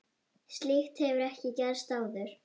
Slíkt hefur ekki gerst áður.